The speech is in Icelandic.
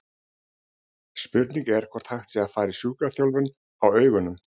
Spurningin er hvort hægt sé að fara í sjúkraþjálfun á augunum?